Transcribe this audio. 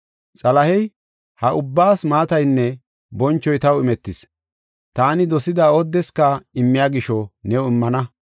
Xalahey, “Ha ubbaas maataynne bonchoy taw imetis. Taani dosida oodeska immiya gisho new immana.